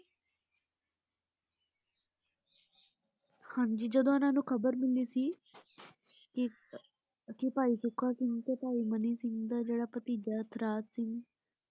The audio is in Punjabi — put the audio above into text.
ਹਾਂਜੀ ਜਦੋ ਉਨ੍ਹਾਂ ਨੂੰ ਖ਼ਬਰ ਮਿਲੀ ਸੀ ਕਿ ਆਹ ਕਿ ਭਾਈ ਸੁੱਖਾ ਸਿੰਘ ਤੇ ਭਾਈ ਮਨੀ ਸਿੰਘ ਦਾ ਜਿਹੜਾ ਭਤੀਜਾ ਇਤਰਾਜ਼ ਸਿੰਘ।